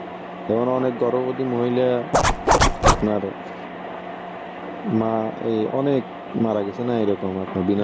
মানে অনেক গর্ভবতী মহিলা আপনার মা এই অনেক মারা গেছে না এরকম আপনার এরকম বিনা